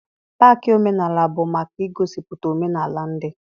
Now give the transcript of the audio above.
Paakị omenaala bụ maka igosipụta omenaala ndị.